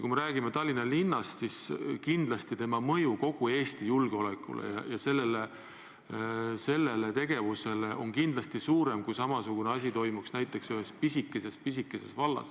Kui me räägime Tallinna linnast, siis kindlasti sellise tegevuse mõju kogu Eesti julgeolekule on kindlasti suurem kui siis, kui samasugune asi toimuks ühes pisikeses vallas.